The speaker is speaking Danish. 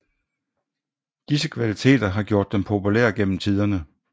Disse kvaliteter har gjort dem populære gennem tiderne